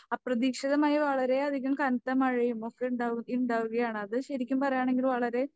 അപ്രതീക്ഷിതമായി വളരെയധികം കനത്തമഴയുമൊക്കെ ഇണ്ടാവും ഇണ്ടാവുകയാണ് അത് ശരിക്കും പറയുകയാണെങ്കിൽ വളരെ